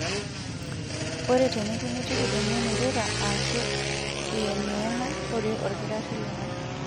Ore tenikimitiki emion irura aashu iyeng'iyeng'a, rorie olkitarri lino.